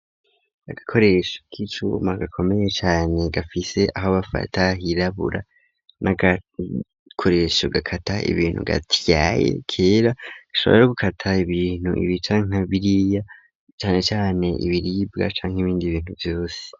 Agakoresho k'icuma gakomeye cane gafise aho bafata hirabura n'agakoresho gakata ibintu gati yaye kera ashobora gukata ibintu ibica nka biriya cane cane ibiribwa canka ibindi bintu vyose.